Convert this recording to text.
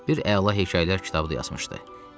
Bir əla hekayələr kitabı da yazmışdı.